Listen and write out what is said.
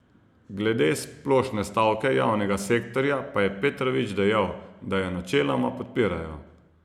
Glede splošne stavke javnega sektorja pa je Petrovič dejal, da jo načeloma podpirajo.